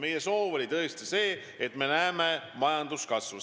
Meie soov oli tõesti see, et me näeksime majanduskasvu.